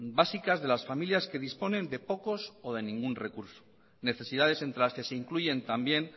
básicas de las familias que disponen de pocos o de ningún recurso necesidades entre las que se incluyen también